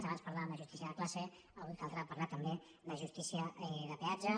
abans parlàvem de justícia de classe avui caldrà parlar també de justícia de peatge